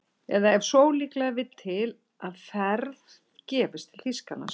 Eða ef svo ólíklega vill til að ferð gefist til Þýskalands